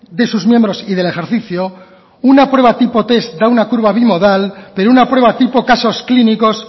de sus miembros y del ejercicio una prueba tipo test da una curva bimodal pero una prueba tipo casos clínicos